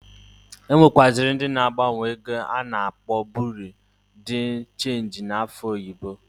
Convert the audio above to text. E nwekaziri ndi na agbanwo ego a na-akpọ Biru di chenji n'afa oyibo.